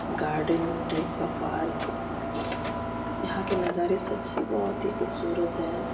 Garden type का park यहाँ के नज़ारे सच्ची बहुत ही खूबसूरत है।